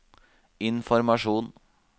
informasjon